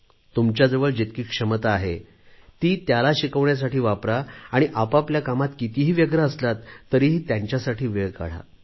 तुमच्याजवळ जितकी क्षमता आहे ती त्याला शिकवण्यासाठी वापरा आणि आपापल्या कामांत कितीही व्यग्र असलात तरीही त्यांच्यासाठी वेळ काढा